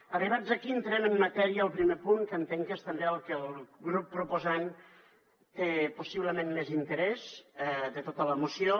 arribats aquí entrem en matèria al primer punt que entenc que és també en el que el grup proposant té possiblement més interès de tota la moció